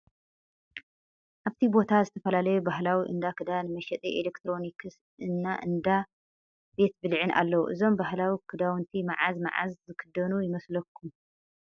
አብቲ ባታ ዝተፍላለዩ ባህላዊ እንዳ ክዳን፣ መሸጢ ኤሌክትሮኒክስ እና እንዳ ቤት ብልዕን አለዉ፤፤እዞም ባህላዊ ክዳዊንቲ ማዓዝ ማዓዝ ዝክደኑ ይመስለኩም ይመስለኩም?